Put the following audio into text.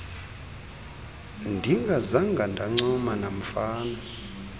ndingazanga ndancuma namfana